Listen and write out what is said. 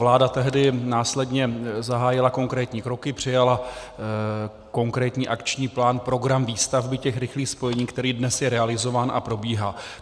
Vláda tehdy následně zahájila konkrétní kroky, přijala konkrétní akční plán program výstavby těch rychlých spojení, který dnes je realizován a probíhá.